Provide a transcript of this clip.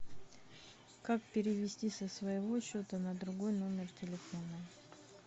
как перевести со своего счета на другой номер телефона